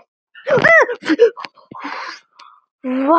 Hvað myndi landið þá heita?